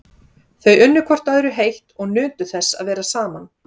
Þau unnu hvort öðru heitt og nutu þess að vera saman.